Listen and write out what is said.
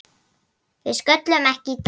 Við sköllum ekki í dag!